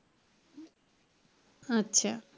আচ্ছা।